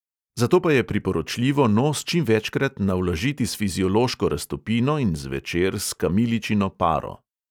Zato pa je priporočljivo nos čim večkrat navlažiti s fiziološko raztopino in zvečer s kamiličino paro.